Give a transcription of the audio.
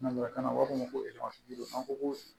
Nanzarakan na u b'a fɔ ko ko